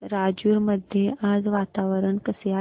राजूर मध्ये आज वातावरण कसे आहे